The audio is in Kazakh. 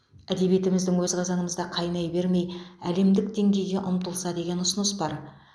әдебиетіміздің өз қазанымызда қайнай бермей әдемдік деңгейге ұмтылса деген ұсыныс бар